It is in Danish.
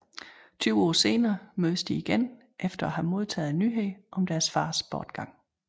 Tyve år senere mødes de igen efter at have modtaget nyheden om deres fars bortgang